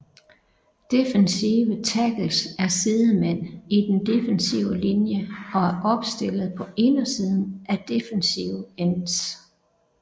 Defensive tackles er sidemænd i den defensive linje og er opstillet på indersiden af defensive ends